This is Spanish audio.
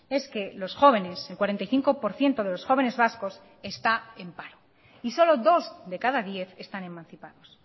es que los jóvenes el cuarenta y cinco por ciento de los jóvenes vascos está en paro y solo dos de cada diez están emancipados